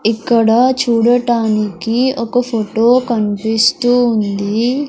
ఇక్కడ చూడటానికి ఒక ఫొటో కన్పిస్తూ ఉంది.